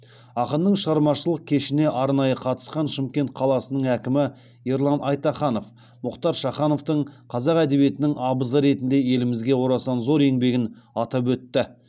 ақынның шығармашылық кешіне арнайы қатысқан шымкент қаласының әкімі ерлан айтаханов мұхтар шахановтың қазақ әдебиетінің абызы ретінде елімізге орасан зор еңбегін атап өтті